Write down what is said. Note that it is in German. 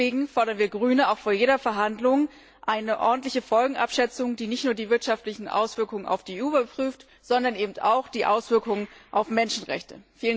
Deswegen fordern wir Grüne auch vor jeder Verhandlung eine ordentliche Folgenabschätzung, die nicht nur die wirtschaftlichen Auswirkungen auf die EU überprüft, sondern eben auch die Auswirkungen auf Menschenrechte.